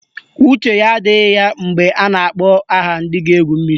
Uche ya adịghị ya mgbe a na-akpọ aha ndị ga-egwu mmiri